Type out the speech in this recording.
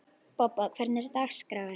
Bobba, hvernig er dagskráin?